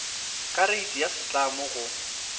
ka reiti ya setlamo go